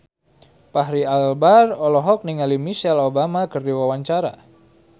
Fachri Albar olohok ningali Michelle Obama keur diwawancara